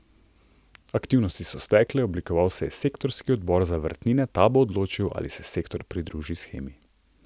Aktivnosti so stekle, oblikoval se je sektorski odbor za vrtnine, ta bo odločil, ali se sektor pridruži shemi.